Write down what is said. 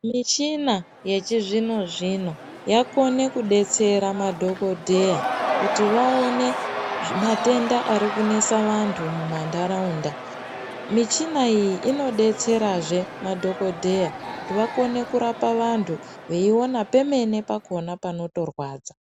Michina yechi zvino zvino yakone kudetsera madhokodheya kuti vaone matenda ari kunesa vantu mu mandaraunda michina iyi ino detsera zvee madhokodheya kuti vakone kurapa vantu vei ona pemene pakona panoto rwadza.